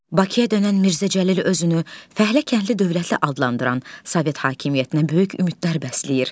Bakıya dönən Mirzə Cəlil özünü fəhlə-kəndli dövlətli adlandıran Sovet hakimiyyətinə böyük ümidlər bəsləyir.